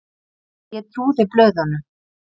Ég trúði blöðunum.